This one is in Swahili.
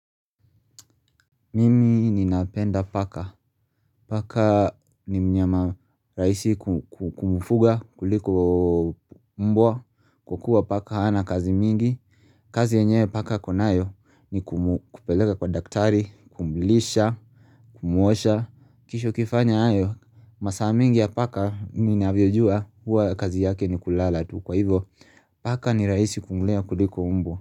Mimi ninapenda paka, paka ni mnyama rahisi ku kumfuga kuliko mbwa kwa kuwa paka hana kazi mingi, kazi yenyewe paka ako nayo ni kupeleka kwa daktari, kumlisha, kumuosha, kisha ukifanya hayo masaa mengi ya paka ninavyojua huwa kazi yake ni kulala tu kwa hivyo paka ni rahisi kumlea kuliko mbwa.